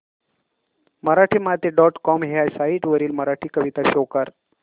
Marathimati dot com ह्या site वरील मराठी कविता शो कर